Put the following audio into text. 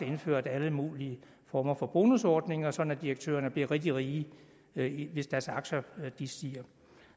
indført alle mulige former for bonusordninger sådan at direktørerne bliver rigtig rige rige hvis deres aktier stiger